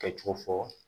Kɛcogo fɔ